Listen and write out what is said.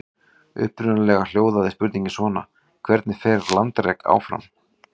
Upprunalega hljóðaði spurningin svona: Hvernig fer landrek fram?